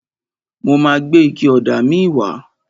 Mo ma gbé ike ọ̀dà míì wá.